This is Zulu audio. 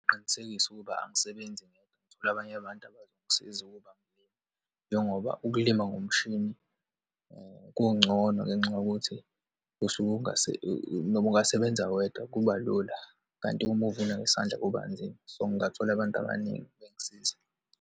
Ngingaqinisekisa ukuba angisebenzi ngedwa, ngithola abanye abantu abazongisiza ukuba ngilime, njengoba ukulima ngomshini kungcono ngenxa yokuthi usuke noma ungasebenza wedwa kuba lula. Kanti uma uvuna ngesandla kuba nzima. So, ngingathola abantu abaningi ukuthi bengisize.